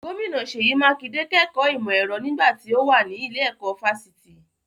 Gómìnà Seyi Makinde kẹ́kọ̀ọ́ ìmọ̀ ẹ̀rọ nígbà tí ó mà ní ilé-ẹ̀kọ́ fásitì.